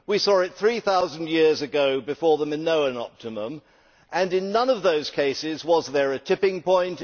we saw it three thousand years ago before the Minoan optimum, and in none of those cases was there a tipping point.